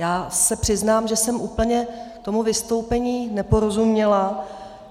Já se přiznám, že jsem úplně tomu vystoupení neporozuměla.